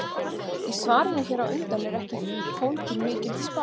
Í svarinu hér á undan er ekki fólgin mikil spá.